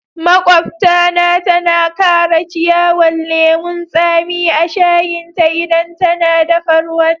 Maƙwabta na tana Kara ciyawan lemun tsami a'shayin ta idan tana daffa ruwan.